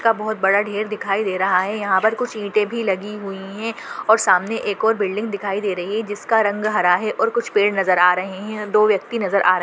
का बहुत बड़ा ढेर दिखाई दे रहा है। यहाँ पर कुछ ईटें भी लगी हुई है और सामने एक और बिल्डिंग दिखाई दे रही है जिसका रंग हरा है और कुछ पेड़ नजर आ रहे हैं। दो व्यक्ति नजर आ र --